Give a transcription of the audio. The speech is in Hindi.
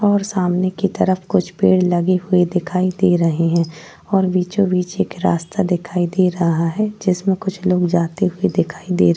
और सामने की तरफ कुछ पेड़ लगे हुए दिखाई दे रहे हैं और बीचो बीच एक रास्ता दिखाई दे रहा है जिसमे कुछ लोग जाते हुए दिखाई दे --